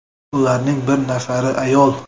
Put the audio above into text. Ularning bir nafari ayol.